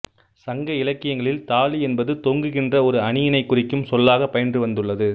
சங்க இலக்கியங்களில் தாலி என்பது தொங்குகின்ற ஒரு அணியினைக் குறிக்கும் சொல்லாகப் பயின்று வந்துள்ளது